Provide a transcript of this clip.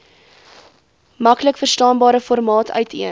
maklikverstaanbare formaat uiteen